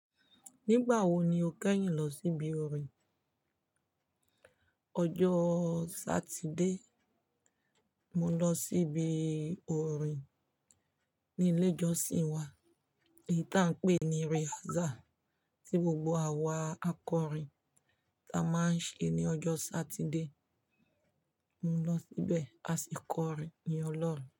Nígbà wo ni o kẹ́yìn lọ síbi orin? Ọjọ́ Satide, mo lọ síbi orin ní ilé ìjọsìn wa, èyí tí à ń pè ní rehearsal tí gbogbo àwa akọrin tí a máa ń ṣe ní ọjọ́ Satide. Mo lọ síbẹ̀, a sì kọrin yin olorun.